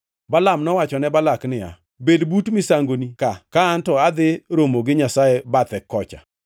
Balaam nowacho ne Balak niya, “Bed but misangoni ka, ka anto adhi romo gi Nyasaye bathe kocha.”